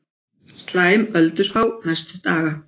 Slæm ölduspá næstu daga